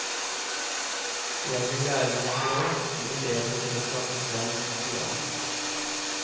Jeg vil lære meg språk, bli bedre til å snakke svensk, sier han.